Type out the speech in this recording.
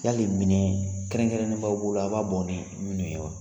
Yali minɛ kɛrɛnkɛrɛnen n b'aw bolo a b'a bɔ ni minnu ye wa ?